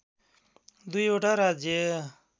२ वटा राज्य